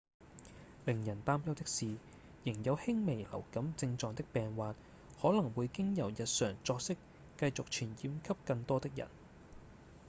令人擔憂的是仍有輕微流感症狀的病患可能會經由日常作息繼續傳染給更多的人